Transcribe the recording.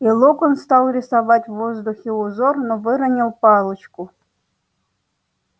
и локонс стал рисовать в воздухе узор но выронил палочку